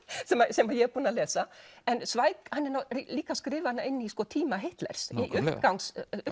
sem ég er búin að lesa en Zweig er líka að skrifa hana inn í tíma Hitlers í uppgang